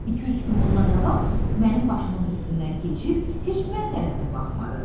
İki-üç gün bundan qabaq mənim başımın üstündən keçib, heç mən tərəfə də baxmadı.